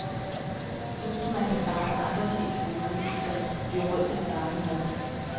Synes du, man kan spare på andre ting i skolen, så der kan blive råd til den varme mad?